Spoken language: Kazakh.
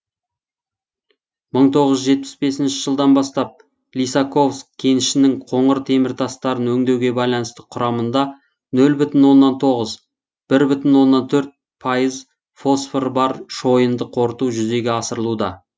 мың тоғыз жүз жетпіс бесінші жылдан бастап лисаковск кенішінің коңыр теміртастарын өңдеуге байланысты құрамында нөл бүтін оннан тоғыз бір бүтін оннан төрт пайыз фосфор бар шойынды қорыту жүзеге асырылуда